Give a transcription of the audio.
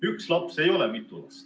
Üks laps ei ole mitu last.